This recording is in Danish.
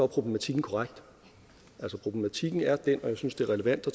problematikken korrekt problematikken er den og jeg synes det er relevant at